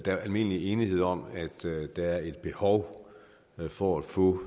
er almindelig enighed om at der er et behov for at få